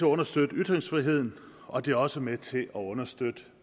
understøtte ytringsfriheden og det er også med til at understøtte